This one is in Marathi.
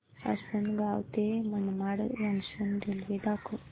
आसंनगाव ते मनमाड जंक्शन रेल्वे दाखव